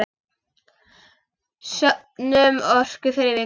Söfnum orku fyrir vikuna.